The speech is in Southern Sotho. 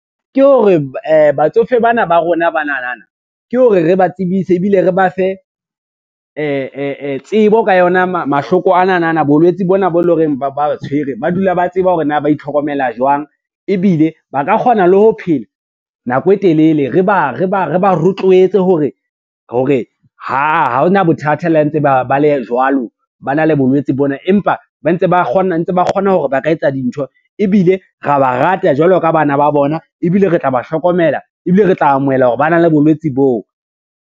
Ke hore batsofe bana ba rona banana, ke hore re ba tsebise ebile re ba fe tsebo ka yona mahloko ananana bolwetse bona bo e lo reng ba ba tshwere, ba dula ba tseba hore na ba itlhokomela jwang ebile ba ka kgona le ho phela nako e telele re ba rotloetsa hore ha ona bothata la ntse ba le jwalo, ba na le bolwetsi tse bona, empa ntse ba kgona hore ba ka etsa dintho ebile ra ba rata jwalo ka bana ba bona, ebile re tla ba hlokomela ebile re tla amohela hore ba na le bolwetsi boo.